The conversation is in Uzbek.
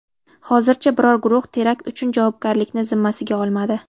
Hozircha biror guruh terakt uchun javobgarlikni zimmasiga olmadi.